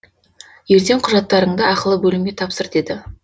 ертең құжаттарыңды ақылы бөлімге тапсыр деді